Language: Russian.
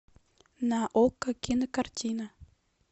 на окко кинокартина